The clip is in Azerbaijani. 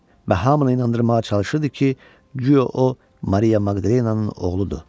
Və hamını inandırmağa çalışırdı ki, guya o Maria Maqdalenanın oğludur.